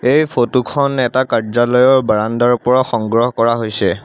এই ফটো খন এটা কাৰ্যালয়ৰ বাৰাণ্ডাৰ পৰা সংগ্ৰহ কৰা হৈছে।